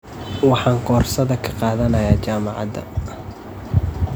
Waxaan koorsada ka qaadanayaa jaamacada?